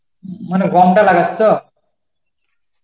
মানে গমটা লাগাস তো?